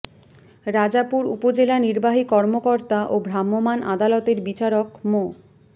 রাজাপুর উপজেলা নির্বাহী কর্মকর্তা ও ভ্রাম্যমাণ আদালতের বিচারক মো